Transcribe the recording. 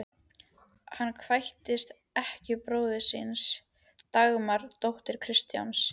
Hann kvæntist ekkju bróður síns, Dagmar, dóttur Kristjáns